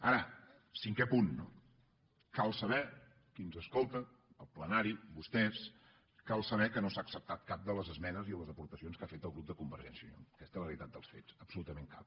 ara cinquè punt no cal saber qui ens escolta el plenari vostès cal saber que no s’ha acceptat cap de les esmenes i les aportacions que ha fet el grup de convergència i unió aquesta és la realitat dels fets absolutament cap